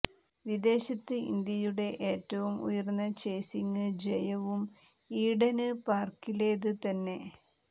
വിദേശത്ത് ഇന്ത്യയുടെ ഏറ്റവും ഉയര്ന്ന ചേസിംങ് ജയവും ഈഡന് പാര്കിലേത് തന്നെ